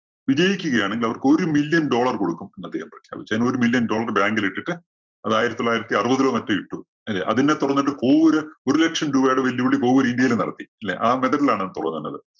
വിജയിക്കുകയാണെങ്കിൽ അവർക്ക് ഒരു million dollar കൊടുക്കും എന്ന് അദ്ദേഹം പ്രഖ്യാപിച്ചു. അതിന് ഒരു million dollar bank ലിട്ടിട്ട് അത് ആയിരത്തി തൊള്ളായിരത്തിഅറുപതിലോ മറ്റോ ഇട്ടു. ഇല്ലേ? അതിനെ തുടർന്നിട്ട് കോവൂര് ഒരു ലക്ഷം രൂപയുടെ വെല്ലുവിളി കോവൂര് ഇന്ത്യയിലും നടത്തി. ഇല്ലേ? ആ method ലാണ് അത് പോകുന്നത്.